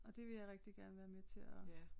Og det vil jeg rigtig gerne være med til at